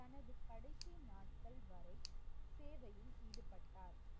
தனது கடைசி நாட்கள் வரை சேவையில் ஈடுபட்டார்.